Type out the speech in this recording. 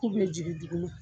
K'u bɛ jigi du kɔnɔ